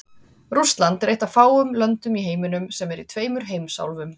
Rússland er eitt af fáum löndum í heiminum sem er í tveimur heimsálfum.